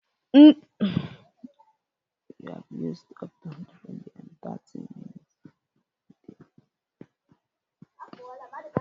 Ndị nne na nna ga na-ekpuchite ụmụ ha mgbe niile.